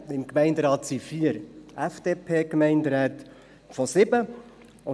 Vier von sieben Gemeinderäten gehören der FDP an.